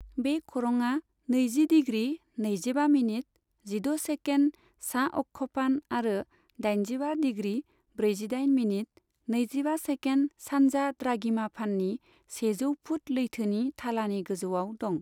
बे खरंआ नैजि डिग्री नैजिबा मिनिट जिद' सेकेन्ड सा अक्षफान आरो दाइनजिबा डिग्री ब्रैजिदाइन मिनिट नैजिबा सेकेन्ड सान्जा द्राघिमाफाननि सेजौ फुट लैथोनि थालानि गोजौआव दं।